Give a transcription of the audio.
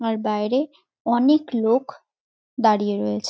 আর বাইরে অনেক লোক দাঁড়িয়ে রয়েছে।